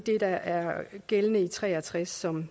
der er gældende i b tre og tres som